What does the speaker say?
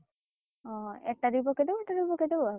ହଁ ହଁ ଏଟା ବି ପକେଇଦବୁ ପକେଇଦବୁ ଆଉ,